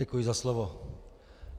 Děkuji za slovo.